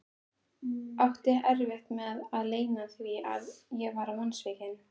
Átti erfitt með að leyna því að ég var vonsvikinn.